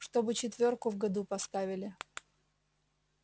чтобы четвёрку в году поставили